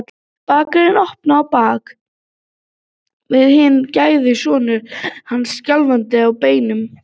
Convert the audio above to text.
Bakarinn opnaði og á bak við hann gægðist sonur hans, skjálfandi á beinunum.